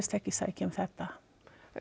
ekki sækja um þetta